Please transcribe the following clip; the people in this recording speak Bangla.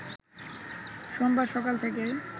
সোমবার সকাল থেকেই